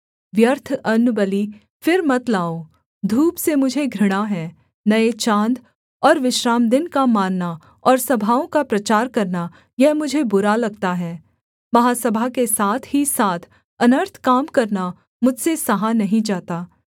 व्यर्थ अन्नबलि फिर मत लाओ धूप से मुझे घृणा है नये चाँद और विश्रामदिन का मानना और सभाओं का प्रचार करना यह मुझे बुरा लगता है महासभा के साथ ही साथ अनर्थ काम करना मुझसे सहा नहीं जाता